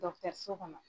so kɔnɔ